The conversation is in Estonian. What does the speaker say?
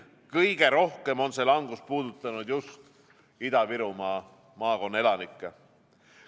Kõige rohkem on see langus puudutanud Ida-Viru maakonna elanikke.